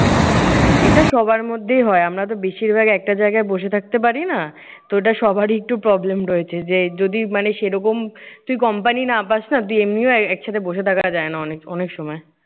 এটা সবার মধ্যেই হয়। আমরাতো বেশিরভাগ একটা জায়গায় বসে থাকতে পারি না। তো ওটা সবারই একটু problem রয়েছে। যে যদি মানে সেই রকম তুই company না পাস না, তুই এমনিও একসাথে বসে থাকা যায় না অনে অনেক সময়।